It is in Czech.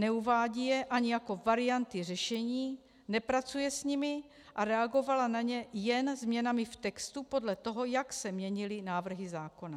Neuvádí je ani jako varianty řešení, nepracuje s nimi a reagovala na ně jen změnami v textu podle toho, jak se měnily návrhy zákona."